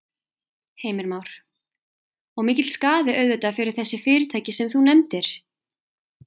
Heimir Már: Og mikill skaði auðvitað fyrir þessi fyrirtæki sem þú nefndir?